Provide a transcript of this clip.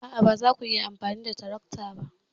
A'a, ba za ku iya amfani da tarakta ba.